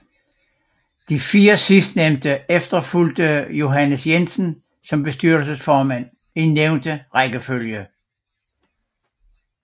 De fire sidstnævnte efterfulgte Johannes Jensen som bestyrelsesformand i nævnte rækkefølge